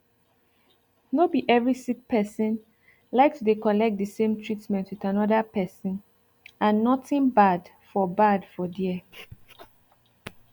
no be every sick person like to dey collect the same treatment with another person and nothing bad for bad for there